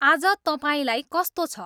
आज तपाईँलाई कस्तो छ